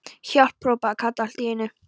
HJÁLP.! hrópaði Kata allt í einu.